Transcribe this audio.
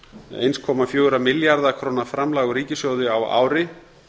eins komma fjögurra milljarða króna framlag úr ríkissjóði á ári